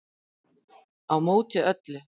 Á móti öllu